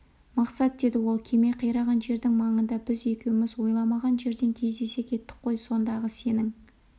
мақсат деді ол кеме қираған жердің маңында біз екеуміз ойламаған жерден кездесе кеттік қой сондағы сенің